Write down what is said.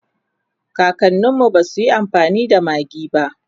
kakaninmu basuyi amfani da maggi ba